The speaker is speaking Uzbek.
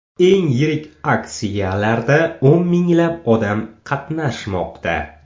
Eng yirik aksiyalarda o‘n minglab odam qatnashmoqda.